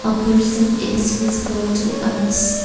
A person is visible to us.